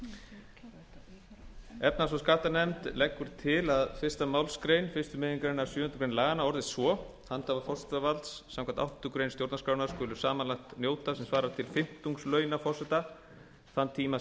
hundruð níutíu efnahags og skattanefnd leggur til að fyrstu málsgrein fyrstu megingreinar sjöundu grein laganna orðist svo handhafar forsetavalds samkvæmt áttundu grein stjórnarskrárinnar skulu samanlagt njóta sem svarar til fimmtungs launa forseta þann tíma